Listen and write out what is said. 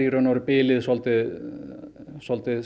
bilið svolítið svolítið